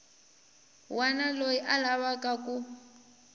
wana loyi a lavaku ku